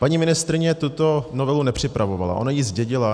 Paní ministryně tuto novelu nepřipravovala, ona ji zdědila.